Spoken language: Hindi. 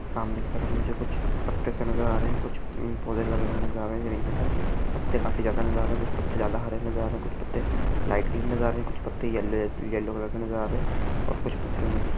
सामने की तरफ मुझे कुछ पत्तेसे नजर आ रहे है कुछ पौधे लगे नजर आ रहे हैं रेलिंग के अंदर पत्ते काफी नजर आ रहे है कुछ पत्ते ज्यादा हरे नजर आ रहे है कुछ पत्ते लाइट ग्रीन नजर आ रहे है कुछ पत्ते येल्लो कलर के नजर आ रहे है और कुछ पत्ते मुझे--